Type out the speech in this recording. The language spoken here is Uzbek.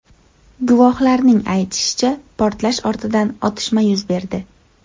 Guvohlarning aytishicha, portlash ortidan otishma yuz berdi.